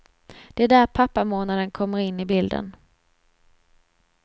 Det är där pappamånaden kommer in i bilden.